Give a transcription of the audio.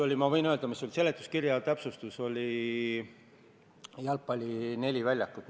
Ma võin öelda, mis see oli: seletuskirja täpsustus oli neli jalgpalliväljakut.